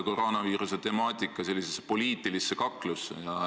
Koroonaviiruse temaatika tõmmati poliitilisse kaklusse.